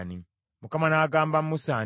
Mukama n’agamba Musa nti,